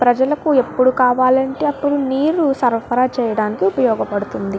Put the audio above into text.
ప్రజలకు ఎప్పుడు కావాలంటే అప్పుడు నీరు సరఫరా చేయడానికి ఉపయోగపడుతుంది.